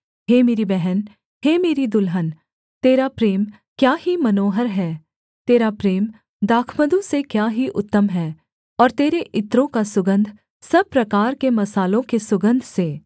हे मेरी बहन हे मेरी दुल्हन तेरा प्रेम क्या ही मनोहर है तेरा प्रेम दाखमधु से क्या ही उत्तम है और तेरे इत्रों का सुगन्ध सब प्रकार के मसालों के सुगन्ध से